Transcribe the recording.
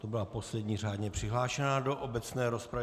To byla poslední řádně přihlášená do obecné rozpravy.